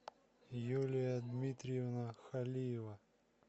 юлия дмитриевна халиева